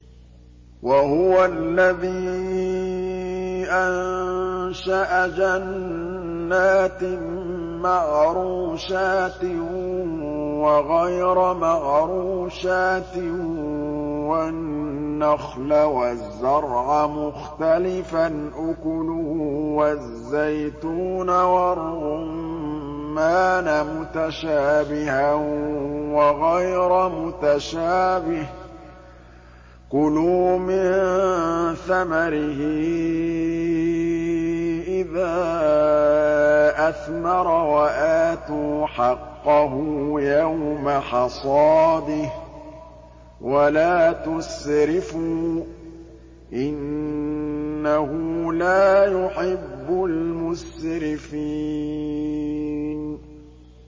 ۞ وَهُوَ الَّذِي أَنشَأَ جَنَّاتٍ مَّعْرُوشَاتٍ وَغَيْرَ مَعْرُوشَاتٍ وَالنَّخْلَ وَالزَّرْعَ مُخْتَلِفًا أُكُلُهُ وَالزَّيْتُونَ وَالرُّمَّانَ مُتَشَابِهًا وَغَيْرَ مُتَشَابِهٍ ۚ كُلُوا مِن ثَمَرِهِ إِذَا أَثْمَرَ وَآتُوا حَقَّهُ يَوْمَ حَصَادِهِ ۖ وَلَا تُسْرِفُوا ۚ إِنَّهُ لَا يُحِبُّ الْمُسْرِفِينَ